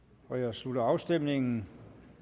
slutter afstemningen